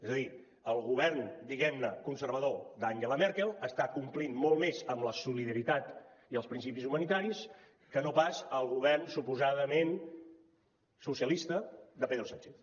és a dir el govern diguem ne conservador d’angela merkel està complint molt més amb la solidaritat i els principis humanitaris que no pas el govern suposadament socialista de pedro sánchez